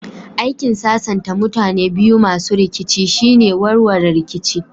Aikin sasanta mutane biyu masu rikici shine warware rikici